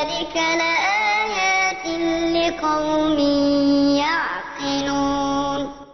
صِنْوَانٌ وَغَيْرُ صِنْوَانٍ يُسْقَىٰ بِمَاءٍ وَاحِدٍ وَنُفَضِّلُ بَعْضَهَا عَلَىٰ بَعْضٍ فِي الْأُكُلِ ۚ إِنَّ فِي ذَٰلِكَ لَآيَاتٍ لِّقَوْمٍ يَعْقِلُونَ